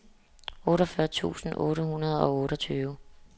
otteogfyrre tusind otte hundrede og otteogtyve